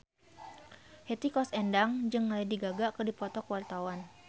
Hetty Koes Endang jeung Lady Gaga keur dipoto ku wartawan